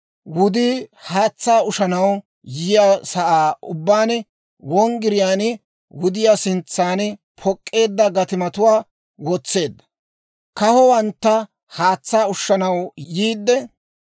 Wudii haatsaa ushanaw yiyaa sa'aa ubbaan, wonggiriyaan, wudiyaa sintsan pok'k'eedda gatimatuwaa wotseedda. Kahowanttu haatsaa ushanaw yiide,